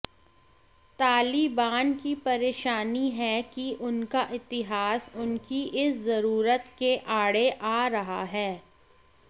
तालिबान की परेशानी है कि उनका इतिहास उनकी इस ज़रूरत के आड़े आ रहा है